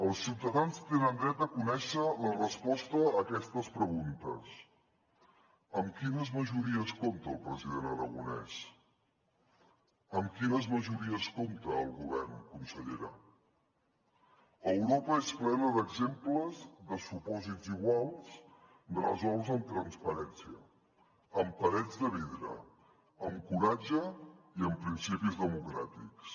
els ciutadans tenen dret a conèixer la resposta a aquestes preguntes amb quines majories compta el president aragonès amb quines majories compta el govern consellera europa és plena d’exemples de supòsits iguals resolts amb transparència amb parets de vidre amb coratge i amb principis democràtics